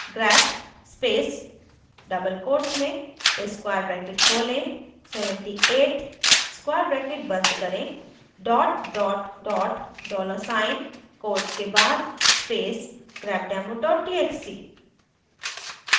grep space double quotes में square bracket खोलें 78 square bracket बंद करें dollar साइन quotes के बाद space grepdemo txt